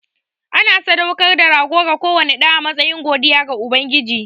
Ana sadaukar da rago ga kowane ɗa a matsayin godiya ga Ubangiji.